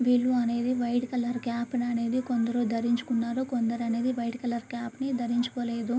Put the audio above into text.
వీళ్ళు అనేవి white colour cap కొందరు ధరించుకున్నారు. కొందరు అనేది వైట్ కలర్ కాప్ ని ధరించుకోలేదు.